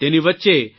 તેની વચ્ચે પી